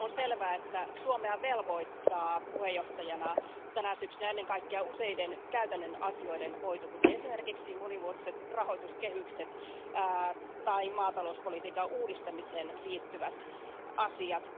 On selvää, että Suomea velvoittaa puheenjohtajana tänä syksynä ennen kaikkea useiden käytännön asioiden hoito, kuten esimerkiksi monivuotiset rahoituskehykset tai maatalouspolitiikan uudistamiseen liittyvät asiat.